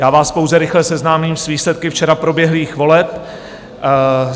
Já vás pouze rychle seznámím s výsledky včera proběhlých voleb.